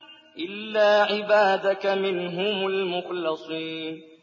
إِلَّا عِبَادَكَ مِنْهُمُ الْمُخْلَصِينَ